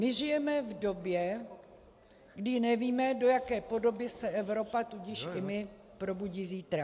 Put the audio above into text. My žijeme v době, kdy nevíme, do jaké podoby se Evropa, tudíž i my, probudí zítra.